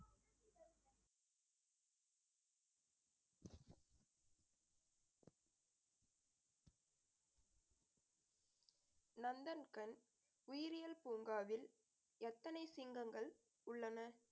நந்தன்கண் உயிரியல் பூங்காவில் எத்தனை சிங்கங்கள் உள்ளன